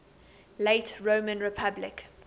late roman republic